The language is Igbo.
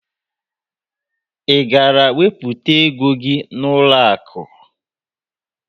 Ị gara wepụta ego gị n'ụlọakụ?